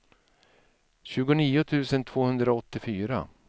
tjugonio tusen tvåhundraåttiofyra